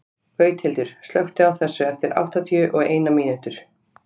Gauthildur, slökktu á þessu eftir áttatíu og eina mínútur.